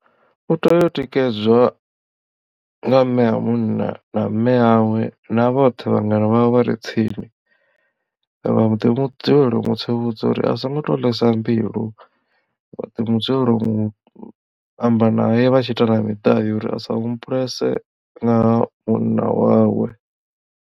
U tea u tikedzwa nga mme a munna na mme yawe na vhoṱhe vhangana vhawe vhare tsini vha ḓi dzulela u mu tsivhudza u ri a songo to ḽesa mbilu vhaḓi dzulela u amba nae vhatshi ita na miḓai uri asa humbulese ngaha munna wawe.